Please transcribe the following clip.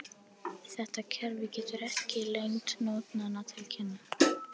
Þetta kerfi gefur ekki lengd nótnanna til kynna.